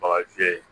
Bagan fiyɛ